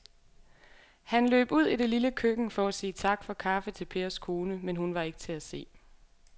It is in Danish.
Han løb ud i det lille køkken for at sige tak for kaffe til Pers kone, men hun var ikke til at se.